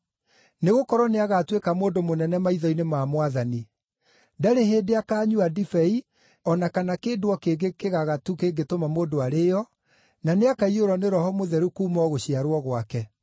nĩgũkorwo nĩagatuĩka mũndũ mũnene maitho-inĩ ma Mwathani. Ndarĩ hĩndĩ akaanyua ndibei o na kana kĩndũ o kĩngĩ kĩgagatu kĩngĩtũma mũndũ arĩĩo, na nĩakaiyũrwo nĩ Roho Mũtheru kuuma o gũciarwo gwake.